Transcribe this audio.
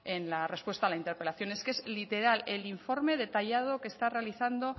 en la respuesta a la interpelación es que es literal el informe detallado que está realizando